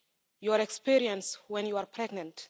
your experience when you are pregnant